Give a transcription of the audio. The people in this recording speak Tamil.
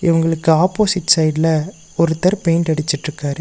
இவங்ளுக்கு ஆப்போசிட் சைட்ல ஒருத்தர் பெயிண்ட் அடிச்சிட்டிருக்காரு.